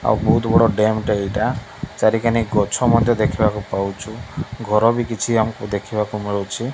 ଆଉ ବହୁତ୍ ବଡ ଡ୍ୟାମ ଟା ଏଇଟା ଚରିକାନେ ଗଛ ମଧ୍ୟ ଦେଖିବାକୁ ପାଉଛୁ ଘର ଭି କିଛି ଆମକୁ ଦେଖିବାକୁ ମିଳୁଛି।